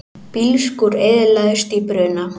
Bílskúr eyðilagðist í bruna